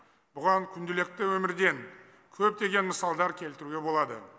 бұған күнделікті өмірден көптеген мысалдар келтіруге болады